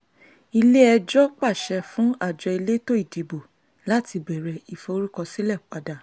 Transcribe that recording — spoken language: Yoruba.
ilé-ẹjọ́ pàṣẹ fún àjọ elétò ìdìbò láti bẹ̀rẹ̀ ìforúkọsílẹ̀ padà